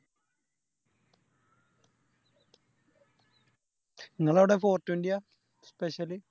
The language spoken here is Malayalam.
ഇങ്ങളവിടെ Four twenty യ Special